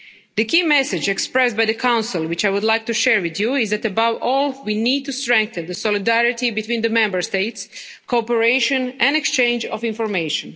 The key message expressed by the Council, which I would like to share with you, is above all we need to strengthen solidarity between the Member States, cooperation and exchange of information.